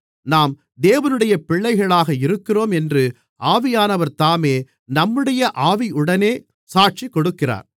நாம் தேவனுடைய பிள்ளைகளாக இருக்கிறோம் என்று ஆவியானவர்தாமே நம்முடைய ஆவியுடனே சாட்சிக் கொடுக்கிறார்